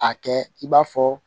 A kɛ i b'a fɔ